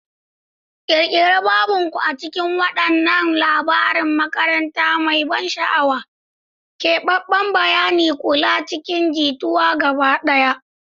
Ƙirƙiri babin ku a cikin wannan labarin makaranta mai ban sha'awa, keɓaɓɓen bayanin kula cikin jituwa gaba ɗaya.